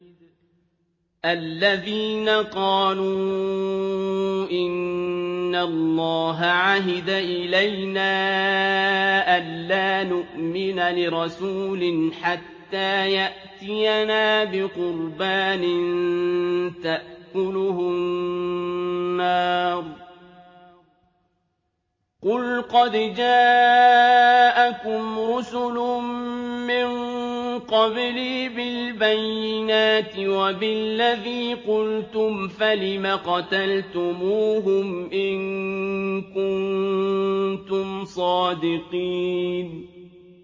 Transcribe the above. الَّذِينَ قَالُوا إِنَّ اللَّهَ عَهِدَ إِلَيْنَا أَلَّا نُؤْمِنَ لِرَسُولٍ حَتَّىٰ يَأْتِيَنَا بِقُرْبَانٍ تَأْكُلُهُ النَّارُ ۗ قُلْ قَدْ جَاءَكُمْ رُسُلٌ مِّن قَبْلِي بِالْبَيِّنَاتِ وَبِالَّذِي قُلْتُمْ فَلِمَ قَتَلْتُمُوهُمْ إِن كُنتُمْ صَادِقِينَ